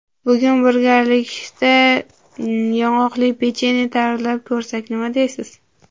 Bugun birgalikda yong‘oqli pechenye tayyorlab ko‘rsak, nima deysiz?